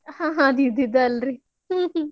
ಆದ್ ಇದ್ದಿದ್ದೇ ಅಲ್ರೀ.